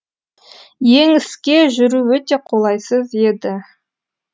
еңіске жүру өте қолайсыз еді